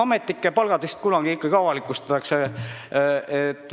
Ametnike palgad vist kunagi ikka avalikustatakse.